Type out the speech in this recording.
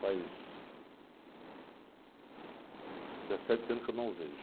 Faz dezessete anos que eu não o vejo.